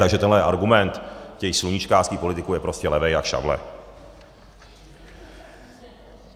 Takže tenhle argument těch sluníčkářských politiků je prostě levej jak šavle.